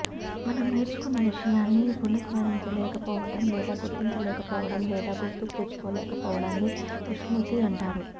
మనం నేర్చుకున్న విషయాన్ని పునఃస్మరించలేకపోవడం లేదా గుర్తించలేకపోవడం లేదా గుర్తుకు తెచ్చుకోలేకపోవడాన్ని విస్మృతి అంటారు